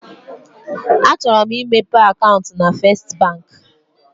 Achọrọ m imepe akaụntụ na Festị Bank.